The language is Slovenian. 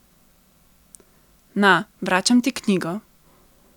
Na, vračam ti knjigo.